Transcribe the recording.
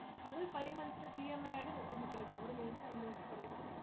അത് ഒരു five months ആയിട്ട് EMI ആയിട്ട് ന~ നമുക്ക് അടയ്ക്കാം, ഒരു minute അത് നോക്കി പറയാം